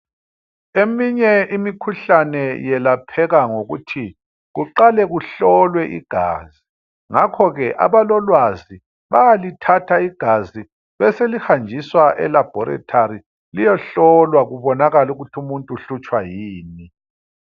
Eminye imikhuhlane yelapheka ngokuthi kuqale kuhlolwe igazi .Ngakhoke abalolwazi bayalithatha igazi ,beselihanjiswa elabhorethari liyehlolwa . Kubonakale ukuthi umuntu uhlutshwa yini.